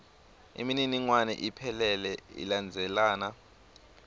imininingwane iphelele ilandzelana